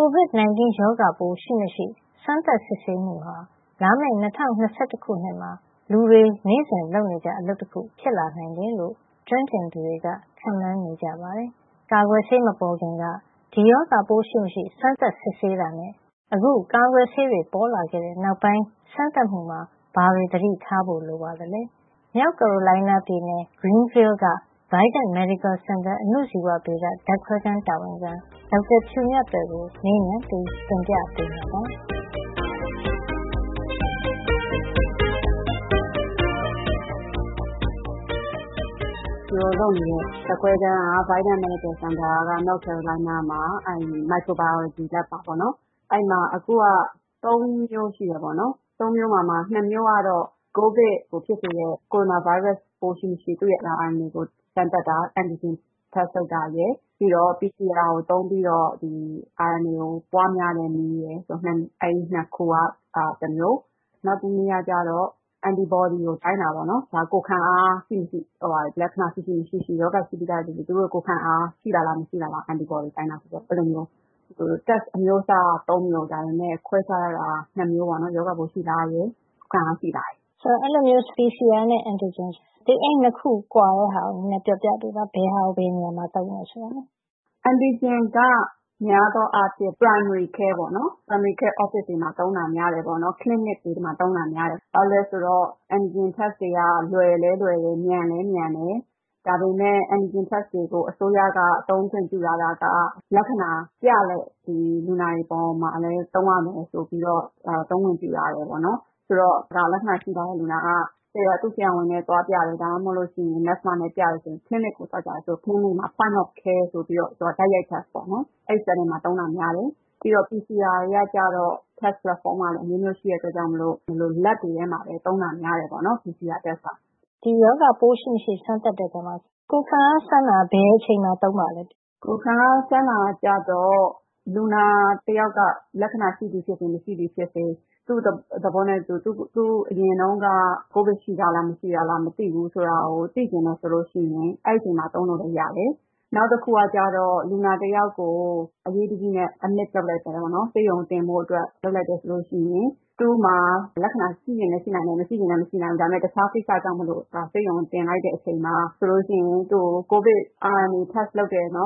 Covid 19 ရောဂါပိုး ရှိမရှိ စမ်းသပ်စစ်ဆေးမှုဟာ လာမယ့် ၂၀၂၁ ခုနှစ်မှာ လူတွေ နေ့စဉ်လုပ်နေကျ အလုပ်တခု ဖြစ်လာနိုင်တယ်လို့ ကျွမ်းကျင်သူတွေက ခန့်မှန်းနေကြပါတယ်။ ကာကွယ်ဆေး မပေါ်ခင်ကဒီရောဂါပိုးရှိမရှိ စမ်းသပ်စစ်ဆေးတာနဲ့ အခု ကာကွယ်ဆေး ပေါ်လာခဲ့တဲ့နောက်ပိုင်း စမ်းသပ်မှုမှာ ဘာတွေ သတိထားဖို့ လိုပါသလဲ။ မြောက်ကာရိုလိုင်းနားပြည်နယ်၊ Greenville က Vidant Medical Center အဏုဇီဝဗေဒ ဓါတ်ခွဲခန်း တာဝန်ခံ ဒေါက်တာဖြူမြတ်သွယ်ကို မေးမြန်းပြီး တင်ပြပေးမှာပါ။ “ဖြူတို့လုပ်နေတဲ့ ဓါတ်ခွဲခန်းက Vidant Medical Center မြောက်ကာရိုလိုင်းနားက microbiology lab ပေါ့နော်။ အဲဒီမှာ လုပ်နေတာ ၃ မျိုးရှိပါတယ်။ ၂ မျိုးကတော့ ကိုဗစ်ကို ဖြစ်စေတဲ့ ကိုရိုနာဗိုင်းရပ်စ် ပိုးရှိမရှိ သူ့ရဲ့ RNA ကို စမ်းသပ်တာ။ antigen test လုပ်တာရယ်၊ PCR ကို သုံးပြီးတော့ RNA ကို ပွါးများတဲ့နည်းရယ်။ အဲဒီ ၂ ခုက တမျိုးနောက်တစ်မျိုးကတော့ Anti-body ကို တိုင်းတာ။ ကိုယ်ခံအား ရှိမရှိ၊ လက္ခဏာ ရှိမရှိ၊ ရောဂါရှိပြီးသားလူတွေ သူတို့ရဲ့ ကိုယ်ခံအား ရှိလာလားဆိုတဲ့ Anti-body တိုင်းတာပါ။ အဲဒီလိုမျိုး စမ်းသပ်မှု test အမျိုးအစားက မျိုး၊ ဒါပေမဲ့ ခွဲခြားထားတာကတော့ နှစ်မျိုးပါ။ ရောဂါပိုး ရှိလားရယ်၊ ကိုယ်ခံအား ရှိလားရယ်။” “ အဲဒီလိုမျိုး PCR နဲ့ Antigen အဲဒီ ၂ ခု ကွာခြားချက်ကို ပြောပြပေးပါ။ ဘယ်ဟာကို ဘယ်နေရာမှာ သုံးတယ်ဆိုတာ။” “Antigen က များသောအားဖြင့် Primary Care Office တွေမှာ သုံးတာများတယ်။ ဆေးခန်း Clinic တွေမှာ သုံးတာများတယ်။ ဘာဖြစ်လို့လဲဆိုတော့ Antigen test တွေက လွယ်လည်းလွယ်တယ်။ မြန်လည်းမြန်တယ်။ ဒါပေမဲ့ Antigen test တွေကို အစိုးရက သုံးခွင့်ပြုထားတာက လက္ခဏာပြတဲ့ လူနာတွေပေါ်မှာပဲ သုံးရမယ်လို့ သုံးခွင့်ပြုထားတယ်။ ဆိုတော့ လက္ခဏာ ရှိထားတဲ့လူနာက သူ့ဆရာဝန်နဲ့ သွားပြတယ်။ ဒါမှမဟုတ် သူနာပြုနဲ့ သွားပြတယ်ဆိုရင် ဆေးခန်းကိုသွားကြတယ်ဆိုရင် အဲဒီမှာ Point of Care - တိုက်ရိုက်စမ်းသပ်မှုစက်နဲ့ သုံးတာများတယ်။ ပြီးတော့ PCR စမ်းသပ်မှုကတော့ စမ်းသပ်တဲ့ပုံစံက အမျိုးမျိုးရှိတာကြောင့် ဓါတ်ခွဲခန်းတွေမှာပဲ သုံးတာများတယ်ပေါ့နော်။” “ ဒီရောဂါပိုး ရှိမရှိ စမ်းသပ်တဲ့အထဲမှာ ကိုယ်ခံအားစမ်းတာ ဘယ်အချိန်မှာ သုံးပါသလဲ။” “ကိုယ်ခံအား စမ်းတာကြတော့ လူနာတစ်ယောက်က လက္ခဏာရှိသည်ဖြစ်စေ၊ မရှိသည်ဖြစ်စေ သူ့သဘောနဲ့သူ အရင်တုန်းက ကိုဗစ် ရှိထားလား၊ မရှိထားလား မသိဘူးဆိုတာကို သိချင်တယ်ဆိုလို့ရှိရင် အဲဒီအချိန်မှာ သုံးလို့လည်းရတယ်။ နောက်တစ်ခုကြတော့ လူနာတစ်ယောက်ကို အရေးတကြီးနဲ့ ဆေးရုံတင်လိုက်တယ်ဆိုရင် သူ့မှာ ရောဂါလက္ခဏာ ရှိချင်လဲ ရှိနိုင်တယ်။ မရှိချင်လဲ မရှိနိုင်ဘူး။ ဒါပေမဲ့ တခြားကိစ္စကြောင့်မို့ ဆေးရုံတင်လိုက်တဲ့အချိန်မှာ ကိုဗစ် စမ်းသပ်မှုလုပ်တယ်။ ပြီး